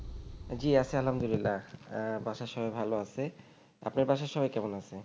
জি আছি আলহামদুলিল্লাহ আহ বাসার সবাই ভালো আছে আপনার বাসার সবাই কেমন আছে